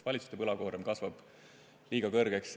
Valitsuse võlakoorem kasvab liiga suureks.